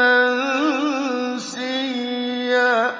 مَّنسِيًّا